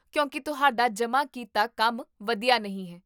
ਕਿਉਂਕਿ ਤੁਹਾਡਾ ਜਮ੍ਹਾਂ ਕੀਤਾ ਕੰਮ ਵਧੀਆ ਨਹੀਂ ਹੈ